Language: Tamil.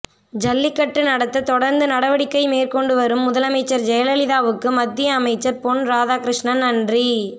ஜல்லிக்கட்டு நடத்த தொடர்ந்து நடவடிக்கை மேற்கொண்டு வரும் முதலமைச்சர் ஜெயலலிதாவுக்கு மத்திய அமைச்சர் பொன் ராதாகிருஷ்ணன் நன்றி